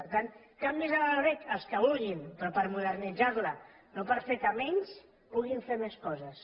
per tant canvis en la loreg els que vulguin però per modernitzar la no per fer que menys puguin fer més coses